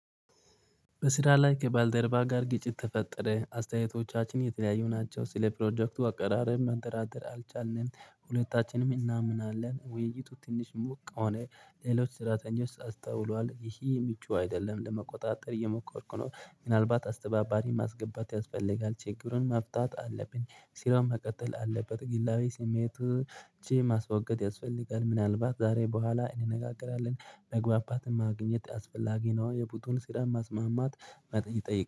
በስራ ላይ ከባልደረባ ጋር ግጭት ተፈጠረ ::አስተያየቶቻችን የተለያዩ ናቸው ስለፕሮጀክቱ አቀራረብ መንደራደር አልቻልንም ሁለታችንም እናምናለን ውይይቱ ትንሽ ሞቅ ሆነ። ሌሎች ስራተኞች አስተውሏል ይሄ የሚጮህ አይደለም ለመቆጣጠር እየሞከርኩ ነው ምናልባት አስተባባሪ ማስገባት ያስፈልጋል ችግሩን መፍታት አለብን ስራም መቀጠል አለበት ግላዊ ስሜቱ እቺ ማስወገድ ያስፈልጋል ምናልባት ዛሬ በኋላ እንነጋገራለን። መግባባት ማግኘት አስፈላጊ ነው የቡጡን ስራ ማስማማት መጠየቅ